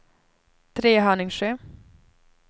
Trehörningsjö